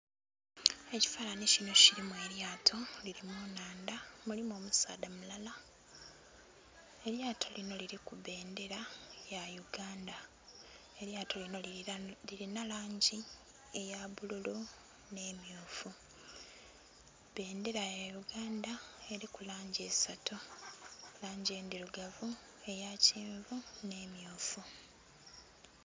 Ekifananhi kinho kilimu elyato lili mu nhandha mulimu omusaadha mulala, elyato linho liliku bbendhera ya Uganda, elyasto linho lilinha langi eya bbululu nhe emmyufu. Bbendhera ya uganda eriku langi isatu langi endhirugavu, eya kyenvu nhe emmyufu.